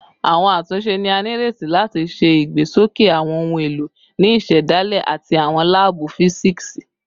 Awọn atunṣe ni a nireti lati ṣe igbesoke awọn ohun elo ni isedale ati awọn laabu fisiksi